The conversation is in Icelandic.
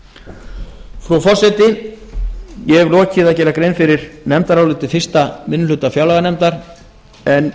frú forseti ég hef lokið að gera grein fyrir nefndaráliti fyrsti minni hluta fjárlaganefndar en